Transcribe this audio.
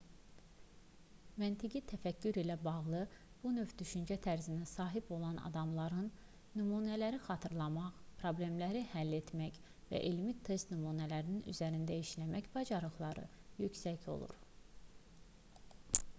məntiqi təfəkkür ilə bağlı bu növ düşüncə tərzinə sahib olan adamların nümunələri xatırlamaq problemləri həll etmək və elmi test nümunələri üzərində işləmək bacarıqları yüksək olur